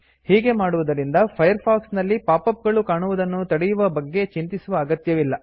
ಹೀಗೆ ಮಾಡುವುದರಿಂದ Firefox ನಲ್ಲಿ ಪಾಪ್ ಅಪ್ ಗಳು ಕಾಣುವುದನ್ನು ತಡೆಯುವ ಬಗ್ಗೆ ಚಿಂತಿಸುವ ಅಗತ್ಯವಿಲ್ಲ